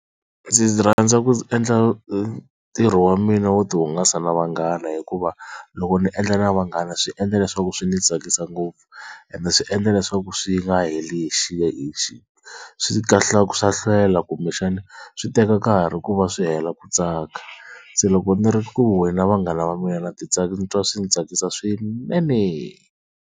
Ndzi rhandza ku endla ntirho wa mina wo tihungasa na vanghana hikuva loko ni endla na vanghana swi endla leswaku swi ni tsakisa ngopfu, ende swi endla leswaku swi nga heli hi swa hlwela kumbexana swi teka nkarhi ku va swi hela ku tsaka, se loko ni ri ku huhweni na vanghana va mina na titsakisi ni twa swi ndzi tsakisa swinene.